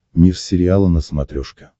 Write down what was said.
мир сериала на смотрешке